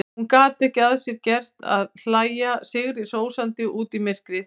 Hún gat ekki að sér gert að hlæja sigrihrósandi út í myrkrið.